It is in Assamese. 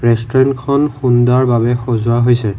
ৰেষ্টোৰেণ্টখন সুন্দৰ ভাৱে সজোৱা হৈছে।